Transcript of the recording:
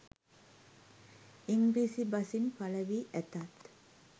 ඉංග්‍රීසි බසින් පළවී ඇතත්